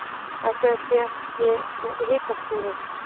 Ætli að það séu ekki hitaskúrir.